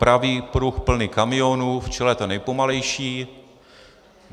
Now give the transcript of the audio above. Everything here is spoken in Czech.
Pravý pruh plný kamionů, v čele ten nejpomalejší.